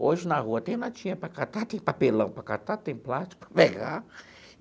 Hoje, na rua, tem latinha para catar, tem papelão para catar, tem plástico para pegar.